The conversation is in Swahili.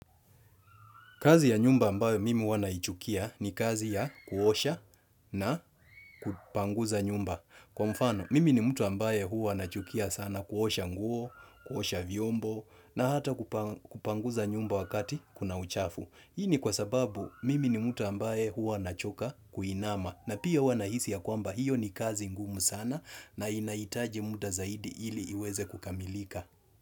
Kazi ya nyumba ambayo mimi huwa naichukia ni kazi ya kuosha na kupanguza nyumba. Kwa mfano, mimi ni mtu ambaye huwa nachukia sana kuosha nguo, kuosha vyombo na hata kupanguza nyumba wakati kuna uchafu. Hii ni kwa sababu mimi ni mtu ambaye huwa nachoka kuinama na pia huwa nahisi ya kwamba hiyo ni kazi ngumu sana na inahitaji muda zaidi ili iweze kukamilika.